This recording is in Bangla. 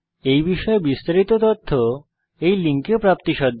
এই বিষয়ে বিস্তারিত তথ্য এই লিঙ্কে প্রাপ্তিসাধ্য